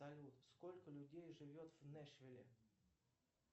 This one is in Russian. салют сколько людей живет в нэшвилле